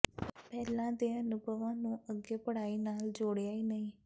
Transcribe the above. ਪਹਿਲਾਂ ਦੇ ਅਨੁਭਵਾਂ ਨੂੰ ਅੱਗੇ ਪੜ੍ਹਾਈ ਨਾਲ ਜੋੜਿਆ ਹੀ ਨਹੀਂ